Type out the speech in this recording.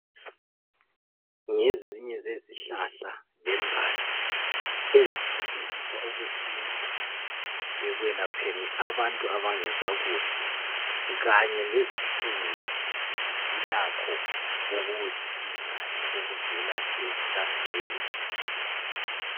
Ngezinye zezihlahla lembali ezisetshenziswa okwesintu ekwelapheni abantu abangezwa kuhle kanye lezifuyo zilakho okuzisizayo okuvela ezihlahleni.